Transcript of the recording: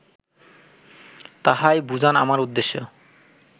তাহাই বুঝান আমার উদ্দেশ্য